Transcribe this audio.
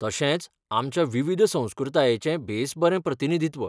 तशेंच आमच्या विविध संस्कृतायेचें बेस बरें प्रतिनिधित्व.